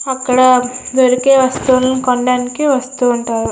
అక్కడ దొరికే వస్తువుని కొనడానికి వస్తూ ఉంటారు.